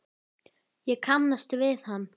Ég kannast við hann.